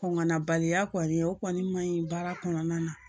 Kɔngɔ nabaliya kɔni o kɔni ma ɲi baara kɔnɔna na